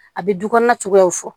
A bɛ du kɔnɔna cogoyaw fɔ